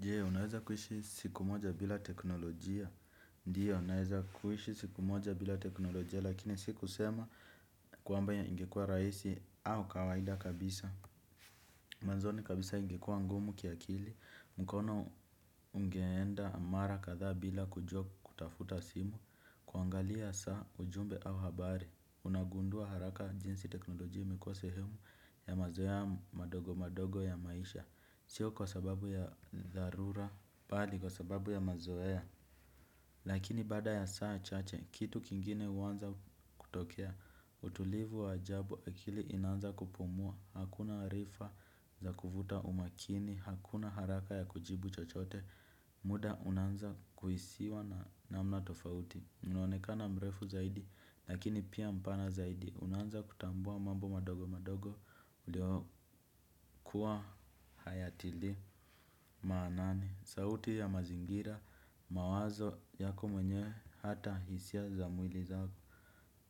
Jee unaweza kuishi siku moja bila teknolojia. Ndiyo naweza kuishi siku moja bila teknolojia lakini siku sema kwamba ingekua rahisi au kawaida kabisa. Mwanzoni kabisa ingekuwa ngumu kiakili mkono ungeenda mara kadhaa bila kujua kutafuta simu kuangalia saa ujumbe au habari unagundua haraka jinsi teknolojia imekuwa sehemu ya mazoea madogo madogo ya maisha sio kwa sababu ya zarura, bali kwa sababu ya mazoea. Lakini baada ya saa chache, kitu kingine uwanza kutokea. Utulivu wa ajabu akili inanza kupumua. Hakuna arifa za kuvuta umakini, hakuna haraka ya kujibu chochote. Muda unanza kuhisiwa na mna tofauti unonekana mrefu zaidi, lakini pia mpana zaidi. Unanza kutambua mambo madogo madogo uliokuwa hayatili maanani. Sauti ya mazingira mawazo yako mwenyewe hata hisia za mwili zako.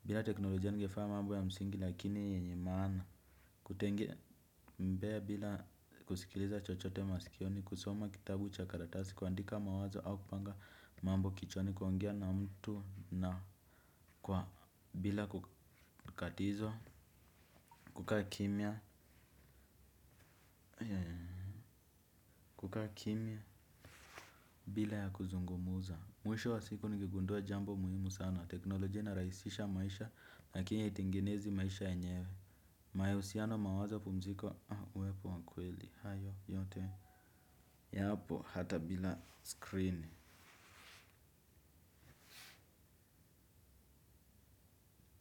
Bila teknolojia ningefanya mambo ya msingi lakini yenye mana. Kutembea bila kusikiliza chochote masikioni kusoma kitabu chakaratasi kuandika mawazo au kupanga mambo kichwani kuongea na mtu na kwa bila kukatizwa. Kukaa kimya. Kukaa kimya. Bila ya kuzungumza mwisho wa siku ningegundua jambo muhimu sana. Teknoloji ina rahisisha maisha lakini haitengenezi maisha yenyewe. Mahusiano mawazo pumziko. Wepo wa kweli. Hayo yote. Yapo hata bila screen.